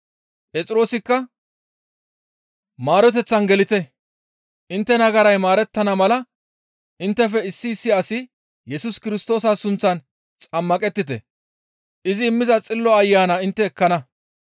Phexroosikka, «Maaroteththan gelite; intte nagaray maarettana mala inttefe issi issi asi Yesus Kirstoosa sunththan xammaqettite; izi immiza Xillo Ayana intte ekkana.